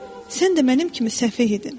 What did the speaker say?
Sən də mənim kimi səhv edirdin.